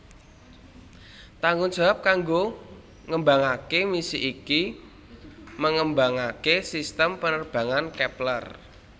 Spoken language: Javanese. Tanggung jawab kanggo ngembangaké misi iki mengembangaké sistem penerbangan Kepler